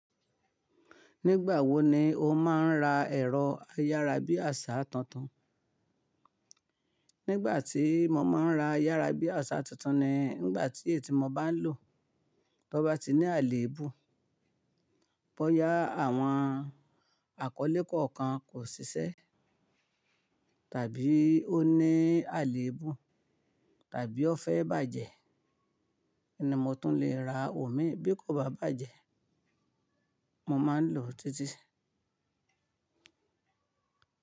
Nígbà wo ni o máa ń ra ẹ̀rọ ayárabíàṣá tuntun? Nígbà tí mo máa ń ra ayárabíàṣá tuntun-un ni ngbà tí èyí tí mo bá ń lò to bá ti ní àléébù, bá yá àwọn àkọ́lé kọ̀ọ̀kan kò ṣiṣẹ́, tàbí ó ní àléébù, tàbí ó fẹ́ bàjẹ́, ni mó tún lè ra òmíi. Bí kò bá bàjẹ́, mo máa ń lò títí.